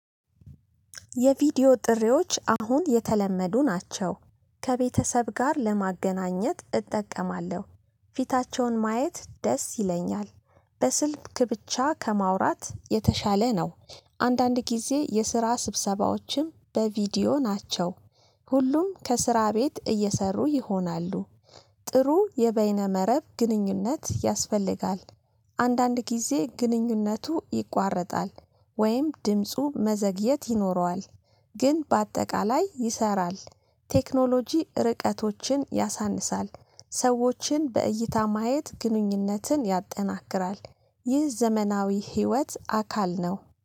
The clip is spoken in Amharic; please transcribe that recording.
የቪዲዮ ጥሪዎች አሁን የተለመዱ ናቸው። ከቤተሰብ ጋር ለማገናኘት እጠቀማለሁ። ፊታቸውን ማየት ደስ ይለኛል። በስልክ ብቻ ከማውራት የተሻለ ነው። አንዳንድ ጊዜ የስራ ስብሰባዎችም በቪዲዮ ናቸው። ሁሉም ከስራ ቤት እየሰሩ ይሆናሉ። ጥሩ የበይነ መረብ ግንኙነት ያስፈልጋል፤ አንዳንድ ጊዜ ግንኙነቱ ይቋረጣል ወይም ድምፁ መዘግየት ይኖረዋል። ግን በአጠቃላይ ይሰራል። ቴክኖሎጂ ርቀቶችን ያሳንሳል። ሰዎችን በእይታ ማየት ግንኙነትን ያጠናክራል። ይህ ዘመናዊ ህይወት አካል ነው